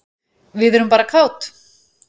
Við erum bara kát.